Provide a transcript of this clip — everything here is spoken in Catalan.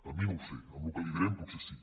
a mi no ho sé amb el que li direm potser sí